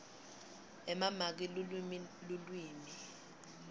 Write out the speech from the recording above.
emamaki lulwimi lulwimi